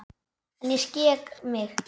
En ég skek mig.